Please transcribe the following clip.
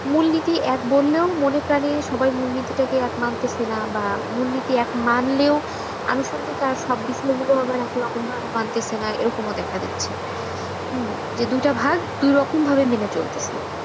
মূলনীতি এক বললেও মনে প্রাণে সবাই মূলনীতি টাকে এক মানতেছে না। বা মূলনীতি এক মানলেও আনুষাঙ্গিক আর সব বিষয়গুলো আবার একই রকম ভাবে মানতেছে না এরকমও দেখা দিচ্ছে। হূম যে দুইটা ভাগ দুই রকম ভাবে মেনে চলতেছে।